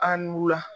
An n'u la